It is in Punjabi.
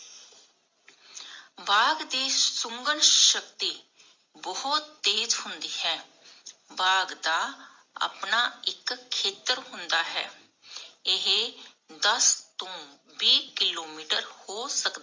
ਬਾਗ਼ ਦੀ ਸ਼ੁਗਣ ਸ਼ਕਤੀ ਬਹੁਤ ਤੇਜ ਹੁੰਦੀ ਹੈ ਬਾਗ਼ ਦਾ ਆਪਣਾ ਇਕ ਖੇਤਰ ਹੁੰਦਾ ਹੈ ਏਹੇ ਦਾਸ ਤੋਂ ਵੀਹ ਕਿਲੋਮੀਟਰ ਹੋ ਸਕਦਾ